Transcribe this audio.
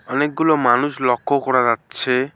অনেকগুলো মানুষ লক্ষ্য করা যাচ্ছে।